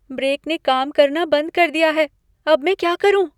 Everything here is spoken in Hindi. ब्रेक ने काम करना बंद कर दिया है। अब मैं क्या करूँ?